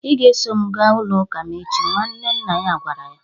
"Ị ga-eso m gaa ụlọ Ụka ​​m echi" nwanne nna ya gwara ya